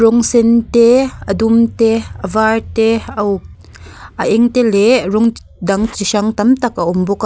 rawng sen te a dum te a var te a uk a eng te leh rawng dang chi hrang tam tak a awm bawk a.